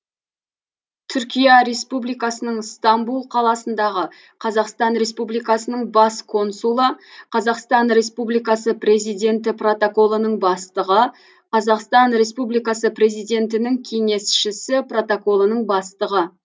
түркия республикасының ыстамбұл қаласындағы қазақстан республикасының бас консулы қазақстан республикасы президенті протоколының бастығы қазақстан республикасы президентінің кеңесшісі протоколының бастығы